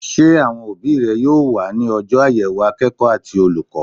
Sé àwon òbí re yóò wá ní ojó àyèwò akéèkó àti olùkó?